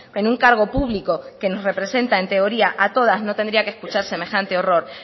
en un cargo público que nos representa en teoría a todas no tendría que escuchar semejante horror